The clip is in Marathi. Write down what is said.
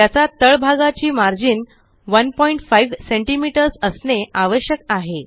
त्याचा तळ भागाची मार्जिन15 सीएमएस असणे आवश्यक आहे